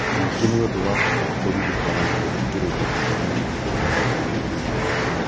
Ningĩ nĩ ũndũ wa bata kũririkana na gũthikĩrĩria mawoni marĩa ũheagwo nĩ arĩa angĩ.